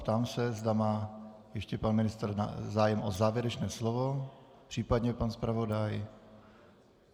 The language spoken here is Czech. Ptám se, zda má ještě pan ministr zájem o závěrečné slovo, případně pan zpravodaj.